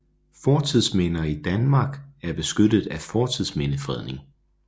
Fortidsminder i Danmark er beskyttet af fortidsmindefredning